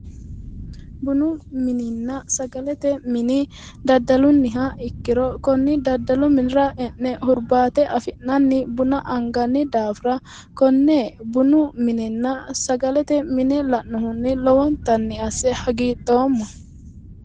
Kuni bununna sagalete mini daddalunniha ikkiro konni daddalu minira e'ne hurbaate afi'nanni buna anganni daafira konne bunu minenna sagalete mine la'nohunni lowontanni asse hagiidhoomma.